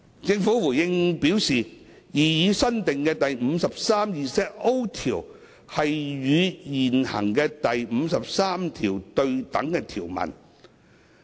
政府回應時表示，擬議新訂的第 53ZO 條是與現行的第53條對等的條文。